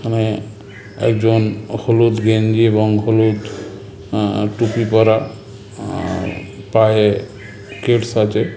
এখানে-এ একজন হলুদ গেঞ্জি এবং হলুদ আ টুপি পরা আ-আ পায়ে কেডস আছে--